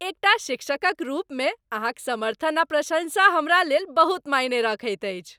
एकटा शिक्षकक रूपमे अहाँक समर्थन आ प्रशंसा हमरा लेल बहुत मायने रखैत अछि।